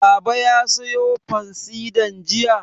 Baba ya sayo fansidar jiya?